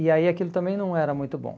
E aí aquilo também não era muito bom.